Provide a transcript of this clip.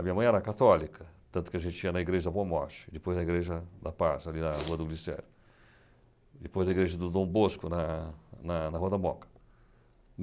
A minha mãe era católica, tanto que a gente tinha na Igreja da Boa Morte, depois na Igreja da Paz, ali na (secreção) Rua do Glicério, depois na Igreja do Dom Bosco, na Rua da Moca.